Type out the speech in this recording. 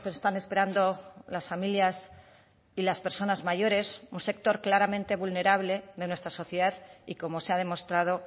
están esperando las familias y las personas mayores un sector claramente vulnerable de nuestra sociedad y como se ha demostrado